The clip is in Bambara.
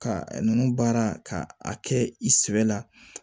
Ka nunnu baara ka a kɛ i sɛbɛ la